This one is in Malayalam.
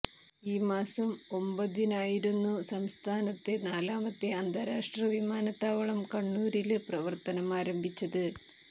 ഈ മാസം ഒമ്പതിനായിരുന്നു സംസ്ഥാനത്തെ നാലാമത്തെ അന്താരാഷ്ട്ര വിമാനത്താവളം കണ്ണൂരില് പ്രവര്ത്തനം ആരംഭിച്ചത്